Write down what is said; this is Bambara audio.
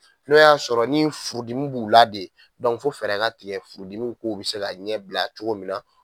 N'o y'a sɔrɔ ni furudimi b'u la de fo fɛɛrɛ ka tigɛ furudimi kow be se ɲɛbila cogo min na